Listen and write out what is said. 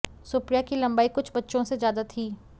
सुप्रिया की लंबाई कुछ बच्चों से ज्यादा थी